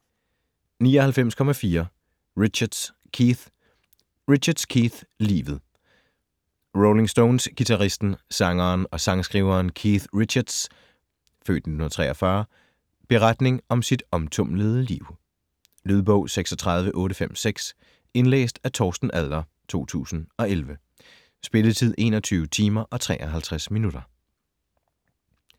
99.4 Richards, Keith Richards, Keith: Livet Rolling Stones-guitaristen, sangeren og sangskriveren Keith Richards' (f. 1943) beretning om sit omtumlede liv. Lydbog 36856 Indlæst af Torsten Adler, 2011. Spilletid: 21 timer, 53 minutter.